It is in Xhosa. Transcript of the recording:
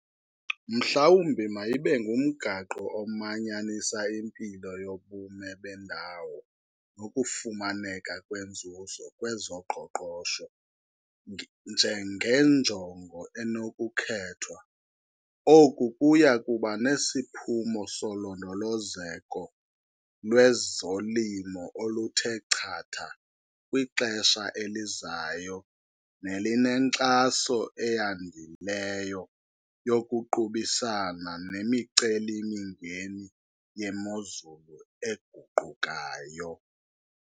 Mhlawumbi mayibe ngumgaqo omanyanisa impilo yobume bendawo nokufumaneka kwenzuzo kwezoqoqosho njengenjongo enokukhethwa. Oku kuya kuba nesiphumo solondolozeko lwezolimo oluthe chatha kwixesha elizayo nelinenkxaso eyandileyo yokuqubisana nemiceli-mingeni yemozulu eguqukayo.